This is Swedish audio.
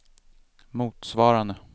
motsvarande